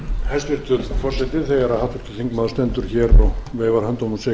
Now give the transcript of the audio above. stendur hér og veifar höndunum og segir